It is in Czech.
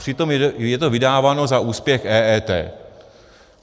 Přitom je to vydáváno za úspěch EET.